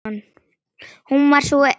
Hún var sú sem gaf.